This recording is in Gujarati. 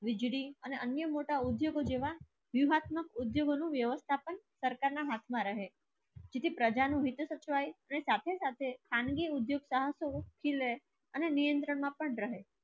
અને અન્ય મોટા ઉદ્યોગ જોવા વ્યવસ્થાપન ઉદ્યોગ માં સાકાર ના હાટ રહે બીને સરકાર નો બીજે સરકારે અને સાચે સાચે અનાદિ ઉદ્યોગ સ્થા કી લે અને નિયઁત્રણ માં પણ રહે.